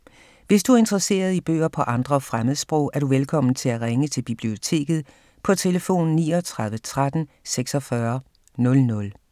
Hvis du er interesseret i bøger på andre fremmedsprog, er du velkommen til at ringe til Biblioteket på tlf. 39 13 46 00.